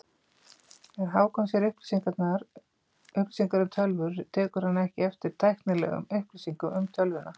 Þegar Hákon sér auglýsingar um tölvur tekur hann ekki eftir tæknilegum upplýsingum um tölvuna.